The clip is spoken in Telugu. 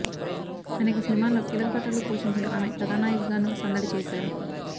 అనేక సినిమాల్లో కీలక పాత్రలు పోషించిన ఆమె కథానాయికగానూ సందడి చేశారు